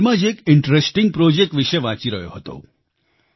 હાલમાં જ એક ઇન્ટરેસ્ટિંગ પ્રોજેક્ટ વિશે વાંચી રહ્યો હતો